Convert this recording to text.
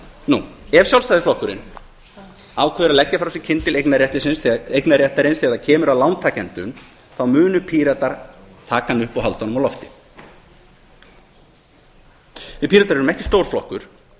nú ef sjálfstæðisflokkurinn ákveður að leggja frá sér kyndil eignarréttarins þegar það kemur að lántakendum þá munu píratar taka hann upp og halda honum á lofti við píratar erum ekki stór flokkur